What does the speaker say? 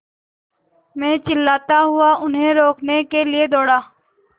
मैं चिल्लाता हुआ उन्हें रोकने के लिए दौड़ा